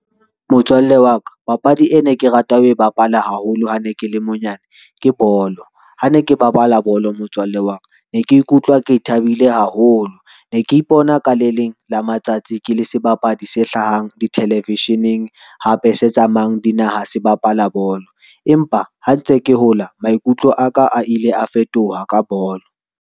Motswalle wa ka, papadi e ne ke rata ho e bapale haholo, ha ne ke le monyane ke bolo. Ha ne ke bapala bolo motswalle wa ka, ne ke ikutlwa ke thabile haholo. Ne ke ipona ka le leng la matsatsi ke le sebapadi se hlahang dithelevesheneng, hape se tsamayang dinaha se bapala bolo empa ha ntse ke hola, maikutlo aka a ile a fetoha ka bolo.